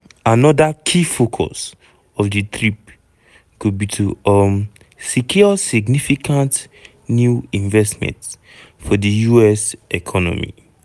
anoda key focus of di trip go be to um secure significant new investment for di us economy.